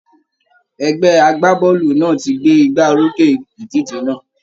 Ẹgbẹ́ a-gbá-bọ́ọ̀lù náà ti gbé igbá orókè ìdíje náà